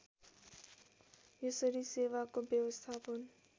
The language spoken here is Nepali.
यसरी सेवाको व्यवस्थापन